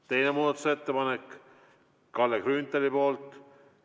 Teine muudatusettepanek, Kalle Grünthali esitatud.